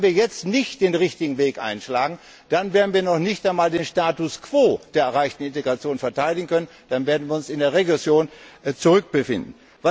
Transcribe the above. Wenn wir jetzt nicht den richtigen Weg einschlagen, dann werden wir noch nicht einmal den Status quo der erreichten Integration verteidigen können, sondern uns in der Regression wiederfinden.